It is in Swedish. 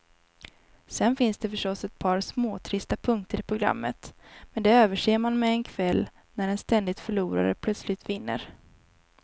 Sen finns det förstås ett par småtrista punkter i programmet, men de överser man med en kväll när en ständig förlorare plötsligt vinner.